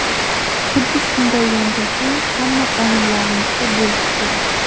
Xuddi shunday yondashuv hamma qonunlarimizda bo‘lishi kerak.